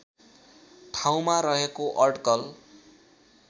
ठाउँमा रहेको अड्कल